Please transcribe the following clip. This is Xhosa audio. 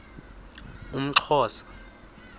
umxhosa